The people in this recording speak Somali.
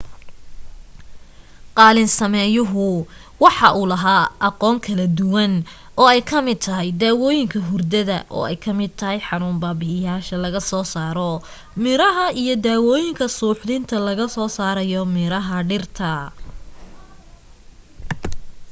qaalin sameyuhu wuxuu laha aqoon kala duwan ay ka mid tahay daawooyinka hurdada ay ka mid tahay xanuun babi'ishaya laga soo saro miraha iyo daawooyinka suuxdinta laga soo sarayo miraha dhiraha